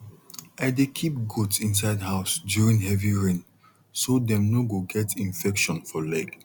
i dey keep goat inside house during heavy rain so dem no go get infection for leg